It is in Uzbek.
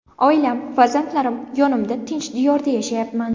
Oilam, farzandlarim yonimda, tinch diyorda yashayapman.